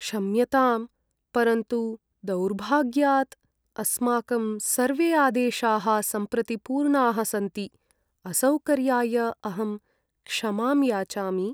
क्षम्यताम्, परन्तु दौर्भाग्यात् अस्माकं सर्वे आदेशाः सम्प्रति पूर्णाः सन्ति। असौकर्याय अहं क्षमां याचामि।